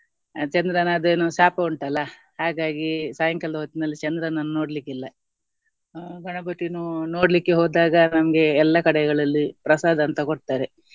ಚಂದ್ರನ ಅದೇನೋ ಶಾಪ ಉಂಟಲ್ಲ ಹಾಗಾಗಿ ಸಾಯಂಕಾಲದ ಹೊತ್ತಿನಲ್ಲಿ ಚಂದ್ರನನ್ನು ನೋಡ್ಲಿಕ್ಕಿಲ್ಲ. ಅಹ್ ಗಣಪತಿ ನೋಡ್ಲಿಕ್ಕೆ ಹೋದಾಗ ನಮ್ಗೆ ಎಲ್ಲ ಕಡೆಗಳಲ್ಲಿ ಪ್ರಸಾದ ಅಂತ ಕೊಡ್ತಾರೆ.